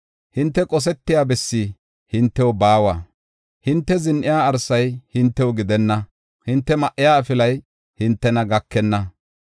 Hinte qosetiya bessi hintew baawa; hinte zin7iya arsay hintew gidenna; hinte ma7iya afilay hintena gakenna.